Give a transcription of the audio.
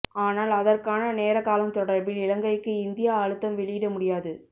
ஆனால் அதற்கான நேரகாலம் தொடர்பில் இலங்கைக்கு இந்தியா அழுத்தம் வெளியிட முடியாது